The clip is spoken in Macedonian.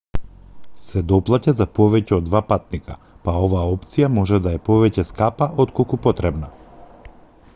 се доплаќа за повеќе од 2 патника па оваа опција може да е повеќе скапа отколку потребна